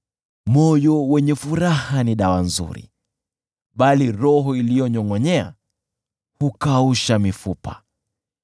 Moyo wenye furaha ni dawa nzuri, bali roho iliyopondeka hukausha mifupa.